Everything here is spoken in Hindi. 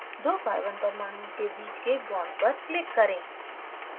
दो carbon परमाणुओं के बीच के bond पर click करें